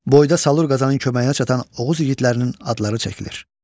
Boydə Salur Qazanın köməyinə çatan Oğuz igidlərinin adları çəkilir.